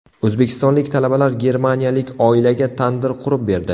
O‘zbekistonlik talabalar germaniyalik oilaga tandir qurib berdi .